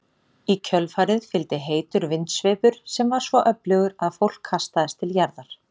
Í kjölfarið fylgdi heitur vindsveipur sem var svo öflugur að fólk kastaðist til jarðar.